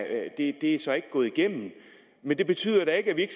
det så ikke er gået igennem men det betyder da ikke at vi